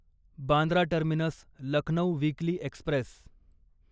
Bandra terminus Lucknow weekly Express